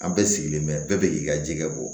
An bɛɛ sigilen bɛ bɛɛ bɛ k'i ka ji kɛ bɔ